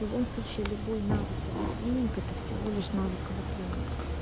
в любом случае любой навык ав тренинг это всего лишь навык ав тренинг